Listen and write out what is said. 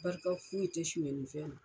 Barika foyi tɛ sɔnyali la.